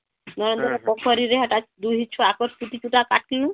ନରେନ୍ଦ୍ର ପୋଖରୀ ରେ ହେଟା ଦୁହିଁ ଛୁଆ ଙ୍କର ଚୁଟି ଚୂଟା କାଟିଲୁ